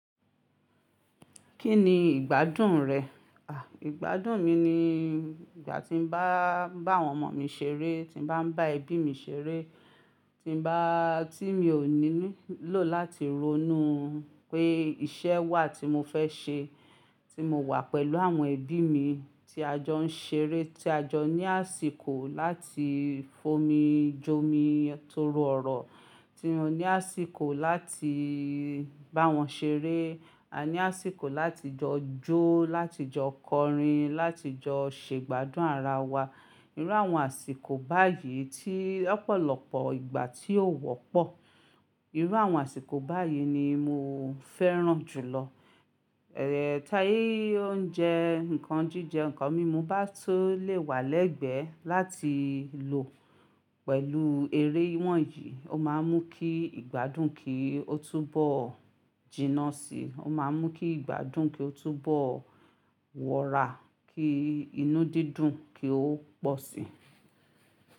Kí ni ìgbádùn rẹ̀? Ìgbádùn mi ni ìgbà tí mo bá ń bá àwọn ọmọ mi ṣeré, tí mo bá ń bá ẹbí mi ṣeré,, tí mi ò nílò láti ronú pé iṣẹ́ wà tí mo fẹ́ ṣe, tí mo wà pẹ̀lú àwọn ẹbí mi tí a jọ ń ṣeré, tí a jọ ní àsìkò láti fomi jomi tooro ọ̀rọ̀, tí mo ní àsìkò láti bá wọn ṣeré, a ní àsìkò láti jọ jó, láti jọ kọrin, láti jọ ṣe ìgbádùn ara wa. Irú àwọn àsìkò báyìí tí lọ́pọ̀lọpọ̀ ìgbà tí ó wọ́pọ̀, irú àwọn àsìkò báyìí ni mo fẹ́ràn jù lọ. Tí oúnjẹ, ǹkan jíjẹ, ǹkan mímu bá tun lè wà lẹ́gbẹ̀ẹ́ láti lò pẹ̀lú eré wọ̀nyí, ó máa ń mú kí ìgbádùn kí ó túbọ̀ jìnnà sí i, ó máa ń mú kí ìgbádùn kí ó túbọ̀ wọra, kí inú dídùn kí ó pọ̀ sí i.